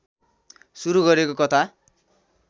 सुरू गरेको कथा